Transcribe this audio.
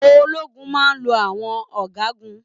Ológun máa n lọ àwọn ọgágun